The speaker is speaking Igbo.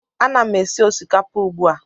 Ana m esi osikapa ugbu a